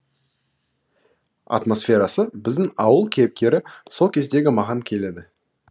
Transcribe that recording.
атмосферасы біздің ауыл кейіпкері сол кездегі маған келеді